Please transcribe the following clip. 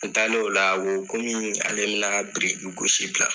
An taalen o la , a ko komi ale bi na gosi bila